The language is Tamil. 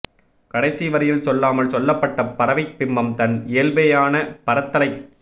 கடைசி வரியில் சொல்லாமல் சொல்லப்பட்ட பறவைப் பிம்பம் தன் இயல்பேயான பறத்தலைக்